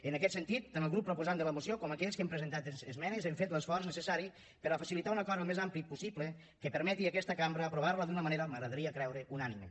en aquest sentit tant el grup proposant de la moció com aquells que hem presentat esmenes hem fet l’esforç necessari per a facilitar un acord al més ampli possible que permeti a aquesta cambra aprovar la d’una manera m’agradaria creure unànime